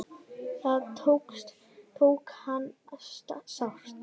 Það tók hana sárt.